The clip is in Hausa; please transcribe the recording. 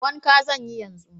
Wanka zan yi yanzu.